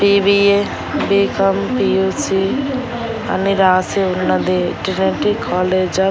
BBA BCom P U C అని రాసి ఉన్నది కాలేజ్ ఆఫ్ --